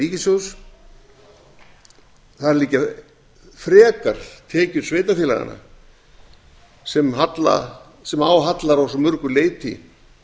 ríkissjóðs þar liggja frekar tekjur sveitarfélaganna sem á hallar að svo mörgu leyti